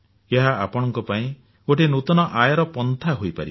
ଏହା ଆପଣଙ୍କ ପାଇଁ ଗୋଟିଏ ନୂତନ ଆୟର ପନ୍ଥା ହୋଇପାରିବ